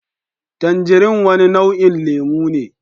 Tanjirin wani nau'in lemu ne